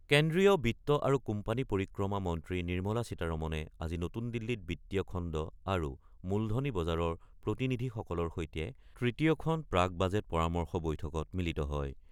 কেন্দ্ৰীয় বিত্ত আৰু কোম্পানী পৰিক্ৰমা মন্ত্ৰী নিৰ্মলা সীতাৰমনে আজি নতুন দিল্লীত বিত্তীয় খণ্ড আৰু মূলধনী বজাৰৰ প্ৰতিনিধিসকলৰ সৈতে তৃতীয়খন প্ৰাক বাজেট পৰামৰ্শ বৈঠকত মিলিত হয়।